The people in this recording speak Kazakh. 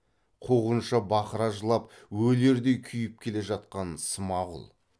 қуғыншы бақыра жылап өлердей күйіп келе жатқан смағұл